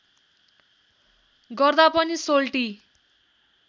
गर्दा पनि सोल्टी